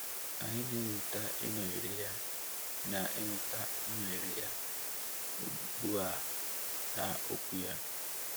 Anyị na-enweta inọnyere Ya na-enweta inọnyere Ya ugbu a n’Okwu Ya.